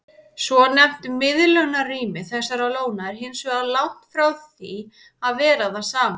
Svonefnt miðlunarrými þessara lóna er hins vegar langt frá því að vera það sama.